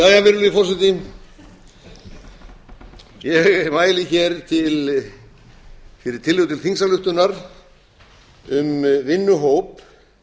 jæja virðulegi forseti ég mæli hér fyrir tillögu til þingsályktunar um vinnuhóp